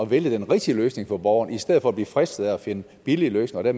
vælge den rigtige løsning for borgeren i stedet for at blive fristet af at finde billige løsninger og